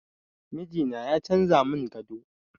Mijina ya canza mun gado